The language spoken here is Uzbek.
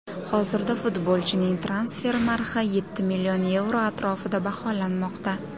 Hozirda futbolchining transfer narxi yetti million yevro atrofida baholanmoqda.